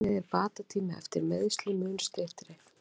Einnig er bata tími eftir meiðsli mun styttri.